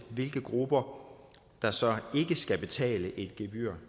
hvilke grupper der så ikke skal betale et gebyr